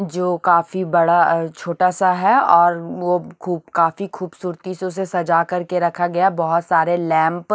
जो काफी बड़ा अह छोटा सा है और वो खु काफी खूबसूरती से उसे सजा कर के रखा गया बहुत सारे लैंप --